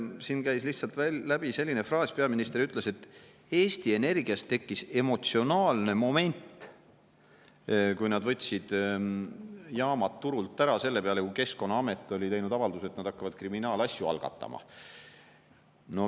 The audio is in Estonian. Siin käis lihtsalt läbi selline fraas, peaminister ütles, et Eesti Energias tekkis emotsionaalne moment, kui nad võtsid jaamad turult ära selle peale, kui Keskkonnaamet oli teinud avalduse, et nad hakkavad kriminaalasju algatama.